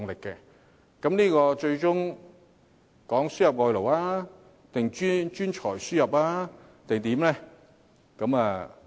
究竟它最終指的是輸入外勞、專才還是甚麼呢？